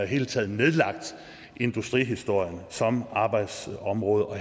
hele taget nedlagt industrihistorien som arbejdsområde og